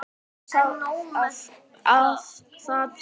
Ekki er það að sjá.